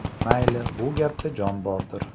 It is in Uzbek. Mayli, bu gapda jon bordir.